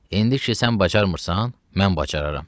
İndi ki, sən bacarmırsan, mən bacararam.